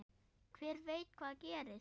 Hver veit hvað gerist?